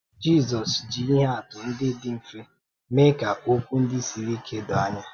Jízọs jị ihe àtụ̀ ndị dị mfe mee ka okwu ndị siri ike dòó anya.